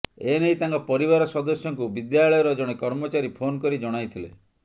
ଏନେଇ ତାଙ୍କ ପରିବାର ସଦସ୍ୟଙ୍କୁ ବିଦ୍ୟାଳୟର ଜଣେ କର୍ମଚାରୀ ଫୋନ୍ କରି ଜଣାଇଥିଲେ